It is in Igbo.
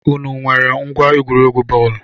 Ụnụ nwèrè ngwa egwuregwu bọọlu?